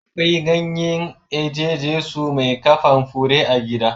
Akwai ganyen eje Jesu mai kaman fure a gidan.